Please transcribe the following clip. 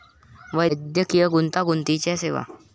वैद्यकीय गुंतागुंतीच्या सेवा